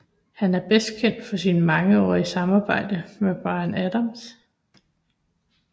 Han er bedst kendt for sit mangeårige samarbejde med Bryan Adams